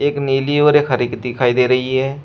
एक नीली और एक हरी की दिखाई दे रही है।